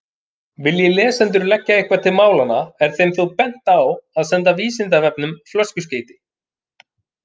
Vilji lesendur leggja eitthvað til málanna er þeim þó bent á að senda Vísindavefnum flöskuskeyti.